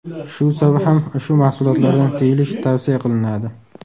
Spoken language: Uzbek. Shu sabab ham ushbu mahsulotlardan tiyilish tavsiya qilinadi.